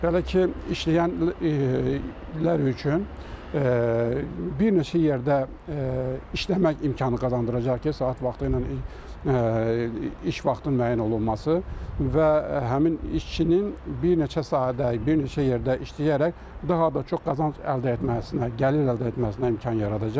Hələ ki, işləyən illər üçün bir neçə yerdə işləmək imkanı qazandıracaq ki, saat vaxtı ilə iş vaxtının müəyyən olunması və həmin işçinin bir neçə sahədə, bir neçə yerdə işləyərək daha da çox qazanc əldə etməsinə, gəlir əldə etməsinə imkan yaradacaq.